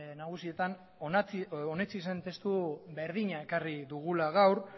nagusietan onetsi zen testu berdina ekarri dugula gaur